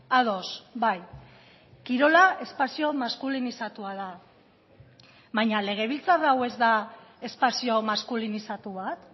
ados bai kirola espazio maskulinizatua da baina legebiltzar hau ez da espazio maskulinizatu bat